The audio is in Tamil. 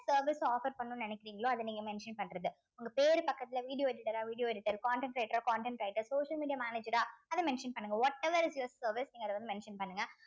service offer பண்ணணும்னு நினைக்கிறீங்களோ அத நீங்க mention பண்றது உங்க பேரு பக்கத்துல video editor அ video editor content writer அ content writer social media manager அ அத mention பண்ணுங்க whatever is your service நீங்க அத வந்து mention பண்ணுங்க